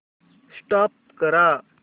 stop करा